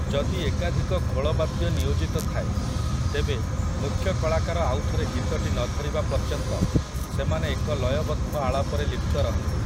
ଯଦି ଏକାଧିକ ଖୋଳ ବାଦ୍ୟ ନିୟୋଜିତ ଥାଏ, ତେବେ, ମୁଖ୍ୟ କଳାକାର ଆଉଥରେ ଗୀତଟି ନ ଧରିବା ପର୍ଯ୍ୟନ୍ତ, ସେମାନେ ଏକ ଲୟବଦ୍ଧ ଆଳାପରେ ଲିପ୍ତ ରହନ୍ତି ।